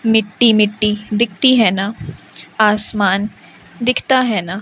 मिट्टी मिट्टी दिखती है ना आसमान दिखता है ना--